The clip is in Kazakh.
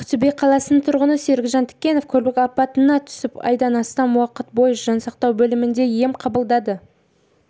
ақтөбе қаласының тұрғыны серік жантікенов көлік апатына түсіп айдан астам уақыт бойы жансақтау бөлімінде ем қабылдады